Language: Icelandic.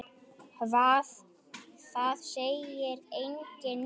Hvað, það segir enginn neitt.